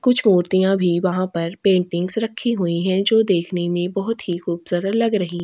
कुछ मूर्तियां भी वहाँ पर पेंटिंगस रखी हुई है जो देखने मे बहुत ही खूबसूरत लग रही --